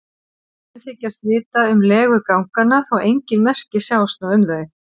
Menn þykjast vita um legu ganganna þó engin merki sjáist nú um þau.